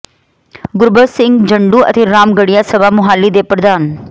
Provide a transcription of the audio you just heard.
ਗੁਰਬਖਸ਼ ਸਿੰਘ ਜੰਡੂ ਅਤੇ ਰਾਮਗੜ੍ਹੀਆ ਸਭਾ ਮੁਹਾਲੀ ਦੇ ਪ੍ਰਧਾਨ ਡਾ